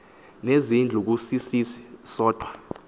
nezindlu kusisisi sodwa